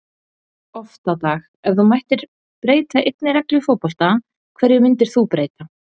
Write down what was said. oft á dag Ef þú mættir breyta einni reglu í fótbolta, hverju myndir þú breyta?